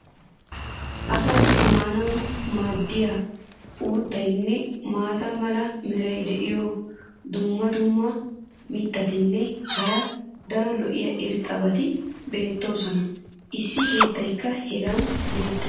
Asaassi maanawu maadiya uuttaynne maata mala meray diyo dumma dumma mitatinne hara daro lo'iya irxxabati beetoosona. issi keettaykka hagan beetees.